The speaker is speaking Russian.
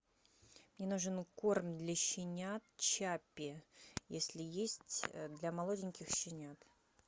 мне нужен корм для щенят чаппи если есть для молоденьких щенят